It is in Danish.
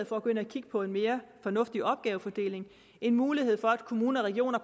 for at gå ind og kigge på en mere fornuftig opgavefordeling en mulighed for at kommuner og regioner